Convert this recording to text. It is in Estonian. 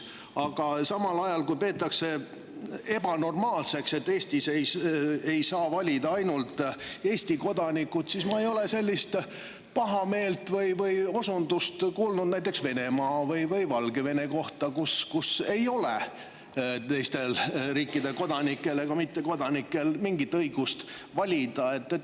Aga samal ajal, kui peetakse ebanormaalseks, et Eestis valida ainult Eesti kodanikud, ei ole ma kuulnud sellist pahameelt näiteks Venemaa või Valgevene kohta, kus ei ole teiste riikide kodanikel ja mittekodanikel mingit õigust valida.